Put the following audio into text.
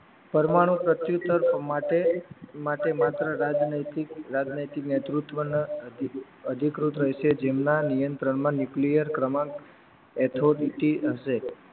પરમાણુ પ્રત્યુત્તર માટે માત્ર રાજનૈતિક રાજનૈતિક નેતૃત્વના અધિકૃત રહેશે જેમના નિયંત્રણમાં ન્યુક્લિયર ક્રમાંક એથોડિટી હશે